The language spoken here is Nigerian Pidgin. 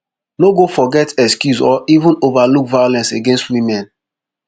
no go forget excuse or even overlook violence against women